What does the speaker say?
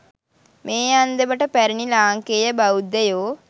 මේ අන්දමට පැරැණි ලාංකේය බෞද්ධයෝ